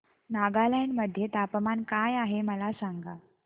नागालँड मध्ये तापमान काय आहे मला सांगा